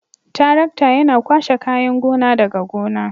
Tarakta Yana kwashe kayan gona daga gona.